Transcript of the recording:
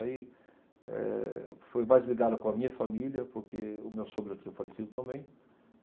Aí, eh, foi mais ligada com a minha família, porque o meu sogro já tinha falecido também.